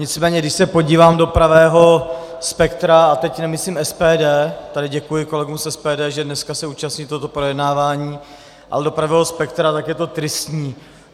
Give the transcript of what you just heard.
Nicméně když se podívám do pravého spektra, a teď nemyslím SPD - tady děkuji kolegům z SPD, že dneska se účastní tohoto projednávání - ale do pravého spektra, tak je to tristní.